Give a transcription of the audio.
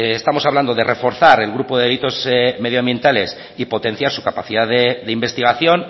estamos hablando de reforzar el grupo de delitos medioambientales y potenciar su capacidad de investigación